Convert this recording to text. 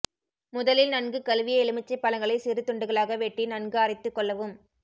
முதலில் நன்கு கழுவிய எலுமிச்சை பழங்களை சிறு துண்டுகளாக வெட்டி நன்கு அரைத்துக் கொள்ளவும்